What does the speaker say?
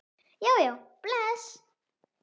Jæja bless